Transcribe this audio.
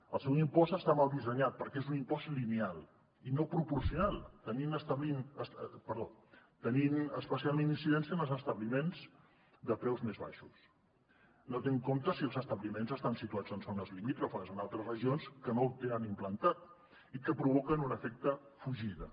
el seu impost està mal dissenyat perquè és un impost lineal i no proporcional i té especialment incidència en els establiments de preus més baixos no té en compte si els establiments estan situats en zones limítrofes amb altres regions que no el tenen implantat i que provoquen un efecte fugida